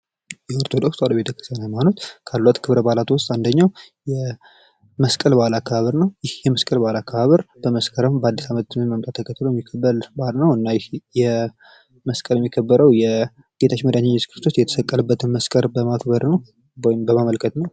የኦርቶዶክስ ተዋህዶ ሃይማኖት ካሏት ክበረ በዓል ውስጥ አንደኛው የመስቀል በአል አከባበር ነው ይህ የመስቀል ባህል አከባበር የአዲስ አመት መምጣት ተከትለው የሚከበር ባህል ነው። መስቀል የሚከበረው የጌታችን መዳታችን ኢየሱስ ክርስቶስ መስቀል በማክበር ነው ።